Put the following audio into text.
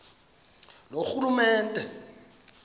loorhulumente